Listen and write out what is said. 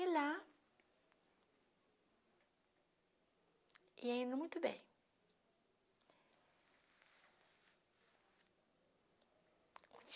E lá... ia indo muito bem.